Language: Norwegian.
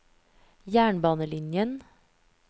jernbanelinjen